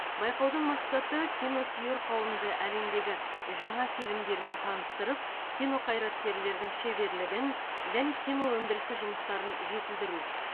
байқаудың мақсаты киносүйер қауымды әлемдегі жаңа фильмдермен таныстырып кино қайраткерлердің шеберлігін және кино өндірісі жұмыстарын жетілдіру